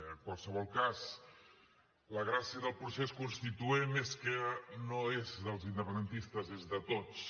en qualsevol cas la gràcia del procés constituent és que no és dels independentistes és de tots